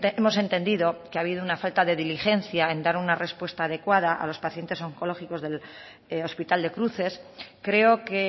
hemos entendido que ha habido una falta de diligencia en dar una respuesta adecuada a los pacientes oncológicos del hospital de cruces creo que